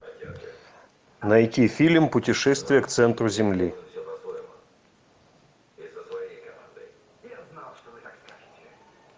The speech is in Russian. найти фильм путешествие к центру земли